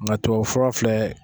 Nka tubabu fura filɛ